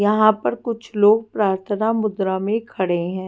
यहां पर कुछ लोग प्रार्थना मुद्रा में खड़े हैं।